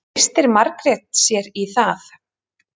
Treystir Margrét sér í það?